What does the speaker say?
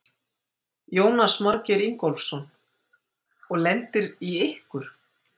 Jónas Margeir Ingólfsson: Og lendir í ykkur?